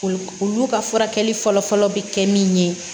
Olu olu ka furakɛli fɔlɔ fɔlɔ bɛ kɛ min ye